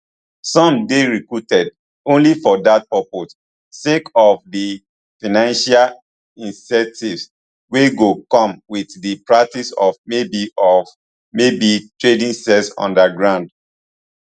some dey recruited only for dat purpose sake of di financial incentives wey go come wit di practice of maybe of maybe trading sex underground